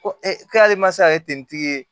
Ko e k'ale ma se ka kɛ tentigi ye